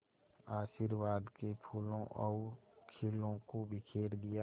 आशीर्वाद के फूलों और खीलों को बिखेर दिया